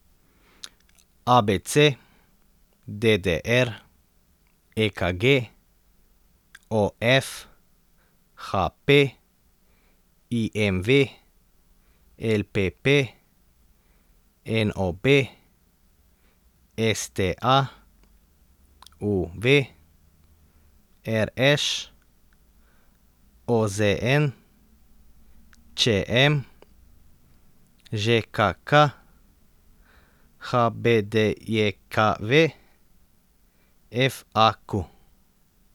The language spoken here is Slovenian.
A B C; D D R; E K G; O F; H P; I M V; L P P; N O B; S T A; U V; R Š; O Z N; Č M; Ž K K; H B D J K V; F A Q.